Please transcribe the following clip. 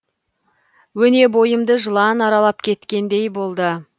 өне бойымды жылан аралап кеткендей болды